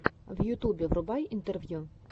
в ютубе врубай интервью